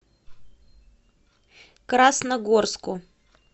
красногорску